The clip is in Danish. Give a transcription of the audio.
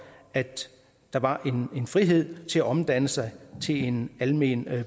at der var en frihed til at omdanne sig til en almen